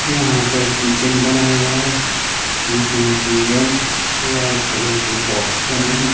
यहां पर किचन बना हुआ है जिसमें की रेड वाइट कलर के बॉक्स बने है।